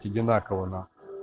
одинаково на